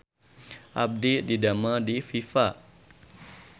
Abdi didamel di Viva